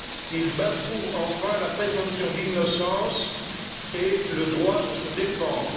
Il bafoue enfin la présomption d'innocence et le droit de se défendre.